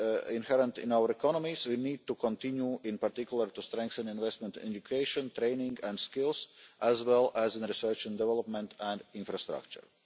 potential inherent in our economies, we need to continue in particular to strengthen investment in education, training and skills as well as in research and development and infrastructure.